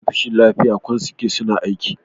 ofishin lafiya kwan suke suna aiki